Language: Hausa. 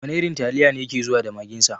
Wana irin taliya ne yake zuwa da magin sa?